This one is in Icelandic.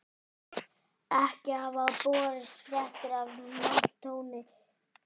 Ekki hafa borist fréttir af manntjóni